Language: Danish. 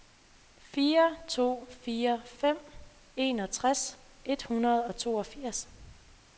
fire to fire fem enogtres et hundrede og toogfirs